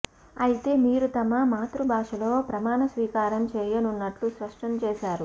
అయితే వీరు తమ మాతృబాషలో ప్రమాణ స్వీకారం చేయనున్నట్టు స్పష్టం చేశారు